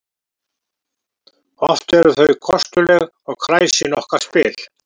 Oft eru þau kostuleg og kræsin okkar spil